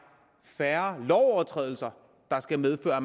færre lovovertrædelser der skal medføre at